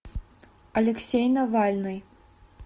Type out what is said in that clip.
алексей навальный